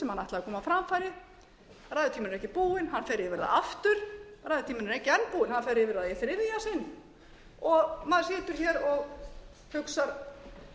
sem hann ætlar að koma á framfæri ræðutíminn er ekki búinn hann fer yfir það aftur ræðutíminn er ekki enn búinn hann fer yfir það í þriðja sinn og maður situr hér og hugsar